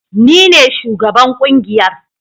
Ni ne shugaban kungiyar